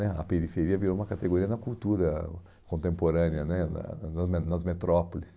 né a periferia virou uma categoria na cultura contemporânea né, na na nas nas metrópoles.